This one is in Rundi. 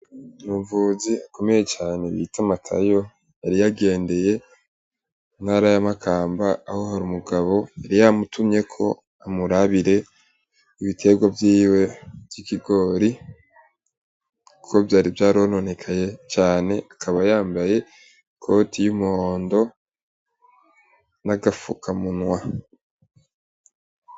Umuvuzi ukomeye cane bita Matayo, yari yagendeye intara ya Makamba aho hari umugabo yari yamutimyeko amurabire ibiterwa vyiwe vy'ikigori, kuko vyari vyarononekaye cane, akaba yambaye ikoti y'umuhondo n'agafuka munwa.